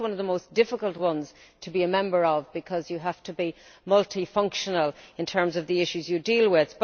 I think it is one of the most difficult ones to be a member of, because you have to be multi functional in terms of the issues you deal with.